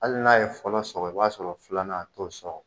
Hali n'a ye fɔlɔ sɔrɔ, i b'a sɔrɔ filanan a t'o sɔrɔ.